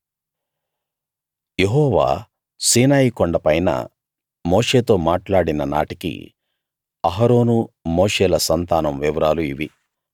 యెహోవా సీనాయి కొండపైన మోషేతో మాట్లాడిన నాటికి అహరోను మోషేల సంతానం వివరాలు ఇవి